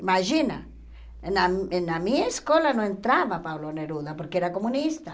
Imagina, na na minha escola não entrava Pablo Neruda, porque era comunista.